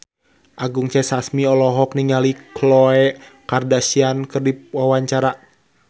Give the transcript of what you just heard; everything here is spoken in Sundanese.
Anggun C. Sasmi olohok ningali Khloe Kardashian keur diwawancara